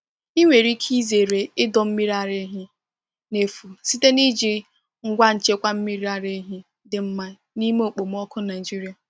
Ị nwere ike izere ịdọ mmiri ara ehi n’efu site n’iji ngwa nchekwa mmiri ara ehi dị mma n’ime okpomọkụ Nigeria.